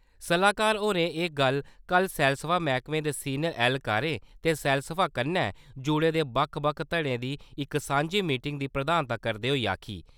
सलाह्कार होरें एह् गल्ल कल सैलसफा मैह्कमे दे सीनियर ऐहलकारें ते सैलसफा कन्नै जुड़े दे बक्ख बक्ख धड़ें दी इक सांझी मीटिंग दी प्रधानता करदे होई आखी ।